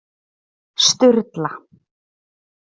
Sturla